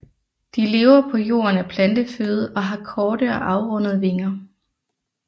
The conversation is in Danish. De lever på jorden af planteføde og har korte og afrundede vinger